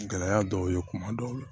Gɛlɛya dɔw ye kuma dɔw la